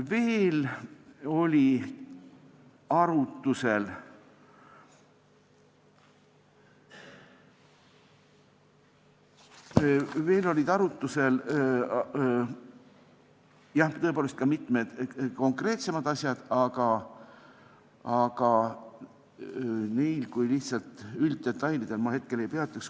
Veel olid arutusel tõepoolest ka mitmed konkreetsemad asjad, aga neil kui lihtsalt ülddetailidel ma hetkel ei peatuks.